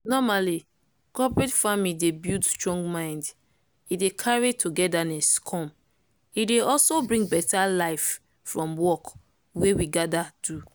normally cooperate farming dey buld strong mind e dey carry togetherness come e dey also bring better life from work wey we gather do